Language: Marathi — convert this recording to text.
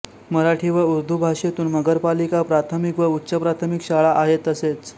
मराठी व ऊरदू भाषेतून नगर पालिका प्राथमिक व उच्च प्राथमिक शाळा आहे तसेच